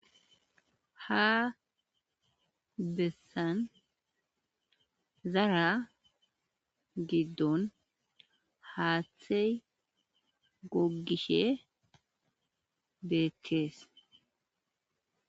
Ha besan zara gidon haththi gogishe betes.